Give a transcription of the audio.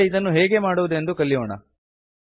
ಈಗ ಇದನ್ನು ಹೇಗೆ ಮಾಡುವುದೆಂದು ಕಲಿಯೋಣ